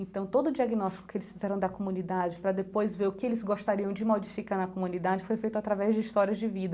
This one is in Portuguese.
Então todo o diagnóstico que eles fizeram da comunidade, para depois ver o que eles gostariam de modificar na comunidade, foi feito através de história de vida.